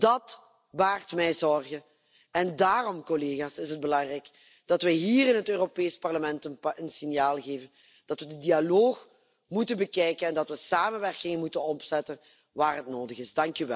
Dat baart mij zorgen, en daarom is het belangrijk dat wij hier in het Europees Parlement een signaal geven, dat we de dialoog moeten bekijken en dat we samenwerking moeten opzetten waar dat nodig is.